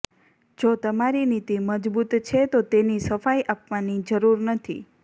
જો તમારી નીતિ મજબૂત છે તો તેની સફાઈ આપવાની જરૃર નથી